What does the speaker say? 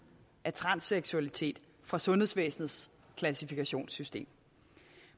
af transseksualitet fra sundhedsvæsenets klassifikationssystem